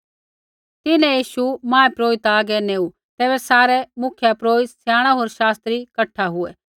तिन्हैं यीशु महापुरोहित हागै नेऊ तैबै सारै मुख्यपुरोहित स्याणै होर शास्त्री कठा हुऐ